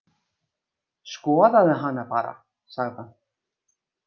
Skoðaðu hana bara, sagði hann.